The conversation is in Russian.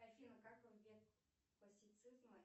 афина как в век классицизма